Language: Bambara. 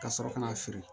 Ka sɔrɔ ka na feere